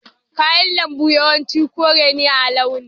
Kayan lambu yawanci kore ne a launi.